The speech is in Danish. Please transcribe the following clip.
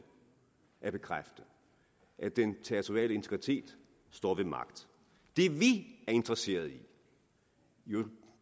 at bekræfte at den territoriale integritet står ved magt det vi er interesserede i jo